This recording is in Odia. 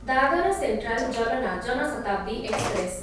Dadar central Jalna Jan Shatabdi express